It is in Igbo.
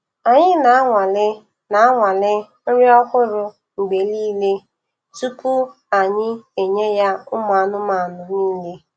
Anyi na-anwale na-anwale nri ohụrụ mgbe nile tupu anyi enye ya umụanụmanụ nile